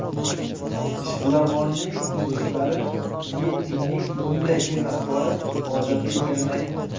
Ishbilarmonning do‘stlari Mitinning bunday fe’l-atvori odatiy ekanini aytdi.